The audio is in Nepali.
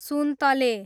सुन्तले